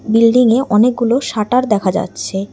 বিল্ডিংয়ে অনেকগুলো শাটার দেখা যাচ্ছে।